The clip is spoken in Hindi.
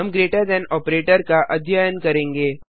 हम ग्रेटर थान ऑपरेटर का अध्ययन करेंगे